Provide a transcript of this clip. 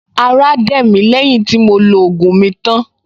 Ará dẹ̀ mí lẹ́yìn tí mo lo ògùn mi tán